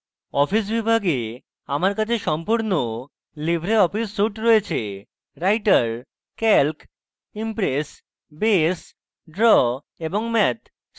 office বিভাগে আমার calc সম্পূর্ণ libreoffice suite রয়েছে